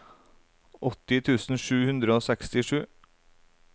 åtti tusen sju hundre og sekstisju